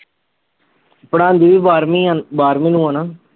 ਪੜ੍ਹਾਂਦੀ ਵੀ ਬਾਰ੍ਹਵੀਂ ਆ ਬਾਰਹਵੀਂ ਨੂੰ ਆ ਨਾ।